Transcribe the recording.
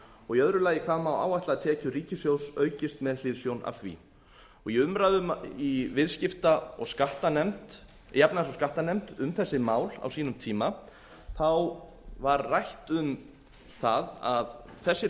og í öðru lagi hvað má áætlað að tekjur ríkissjóðs aukist með hliðsjón af því í umræðum í efnahags og skattanefnd um þessi mál á sínum tíma var rætt um það að þessir